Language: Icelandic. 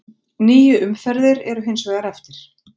Níu umferðir eru hins vegar eftir.